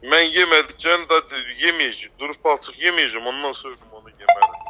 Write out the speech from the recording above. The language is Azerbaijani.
Mən yeməyəcəm də, durub palçıq yeməyəcəm, ondan sonra mən onu yemərəm.